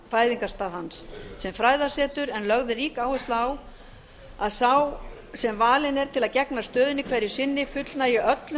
fæðingarstað hans sem fræðasetur en lögð er rík áhersla á að sá sem valinn er til að gegna stöðunni hverju sinni fullnægi öllum